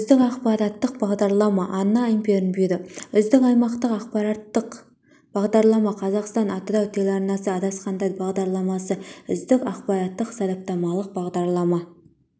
үздік ақпараттық бағдарлама арна информбюро үздік аймақтық ақпараттық бағдарлама қазақстан-атырау телеарнасы адасқандар бағдарламасы үздік ақпараттық-сараптамалық бағдарлама